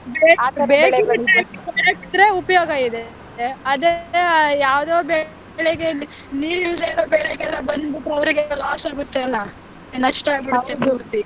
ಉಪಯೋಗ ಇದೆ ಅದೇ ಯಾವದೋ ಬೆಳೆಗೆ ನೀರಿಲ್ಲದೆ ಇರೋ ಬೆಳೆಗಳ ಬಂದ್ಬಿಟ್ರೆ ಅವರಿಗೆ loss ಆಗುತ್ತಲ್ಲ ನಷ್ಟ ಆಗುತ್ತೆ ಪೂರ್ತಿ.